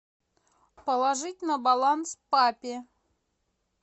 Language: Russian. положить на баланс папе